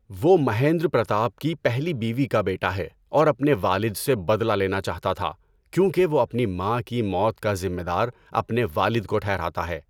وہ مہیندر پرتاپ کی پہلی بیوی کا بیٹا ہے اور اپنے والد سے بدلہ لینا چاہتا تھا کیونکہ وہ اپنی ماں کی موت کا ذمہ دار اپنے والد کو ٹھہراتا ہے۔